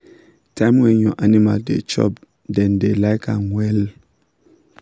time when your animal da chop dem da like am wella